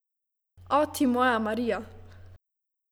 O, ti moja Marija!